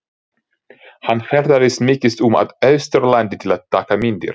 Hann ferðaðist mikið um á Austurlandi til að taka myndir.